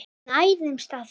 Við nærumst á þessu.